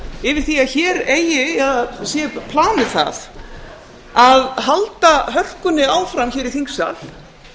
yfir því að hér sé planið það að halda hörkunni áfram hér í þingsal